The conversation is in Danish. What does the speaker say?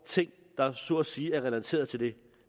ting der så at sige er relateret til det